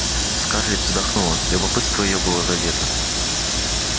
скарлетт вздохнула любопытство её было задето